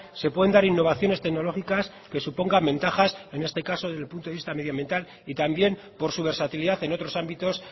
se pueden dar innovaciones tecnológicas que supongan ventajas en este caso del punto de vista medioambiental y también por su versatilidad en otros ámbitos